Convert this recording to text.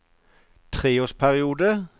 treårsperiode